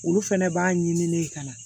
Olu fɛnɛ b'a ɲini ne ye ka na